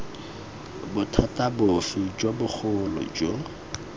bothata bofe jo bogolo jo